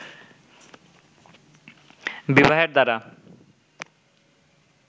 বিবাহের দ্বারা